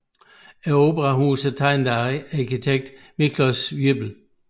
Operahuset er tegnet af arkitekten Miklós Ybl